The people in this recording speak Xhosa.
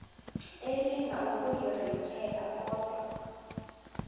elinga ukuyirintyela kodwa